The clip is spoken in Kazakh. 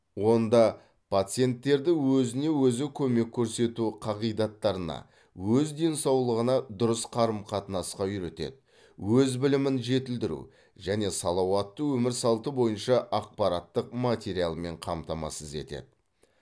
онда пациенттерді өзіне өзі көмек көрсету қағидаттарына өз денсаулығына дұрыс қарым қатынасқа үйретеді өз білімін жетілдіру және салауатты өмір салты бойынша ақпараттық материалмен қамтамасыз етеді